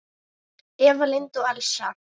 Eva Lind og Elsa.